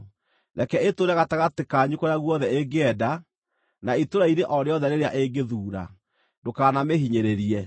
Reke ĩtũũre gatagatĩ kanyu kũrĩa guothe ĩngĩenda na itũũra-inĩ o rĩothe rĩrĩa ĩngĩthuura. Ndũkanamĩhinyĩrĩrie.